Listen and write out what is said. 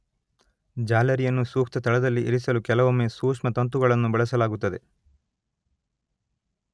ಜಾಲರಿಯನ್ನು ಸೂಕ್ತ ಸ್ಥಳದಲ್ಲಿ ಇರಿಸಲು ಕೆಲವೊಮ್ಮೆ ಸೂಕ್ಷ್ಮತಂತುಗಳನ್ನು ಬಳಸಲಾಗುತ್ತದೆ